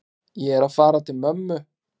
Ég er að fara til mömmu.